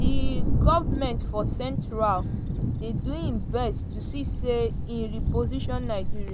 "di goment for central dey do im best to see say e reposition nigeria.